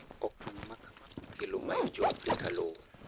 okang' makama okelo mayo joafrika lowo